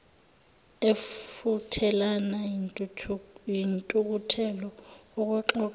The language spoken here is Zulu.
efuthelana yintukuthelo okwexoxo